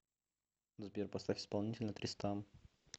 сбер поставь исполнителя тристам